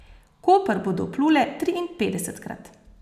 V Koper bodo vplule triinpetdesetkrat.